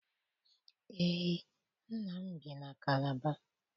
Eé, nna m bi na Kalaba.